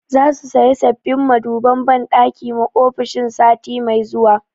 Za su saya sabbin maduban banɗaki ma ofishin sati mai zuwa